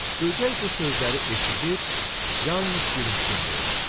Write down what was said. Böcək bu sözləri eşidib, yalnız gülümsündü.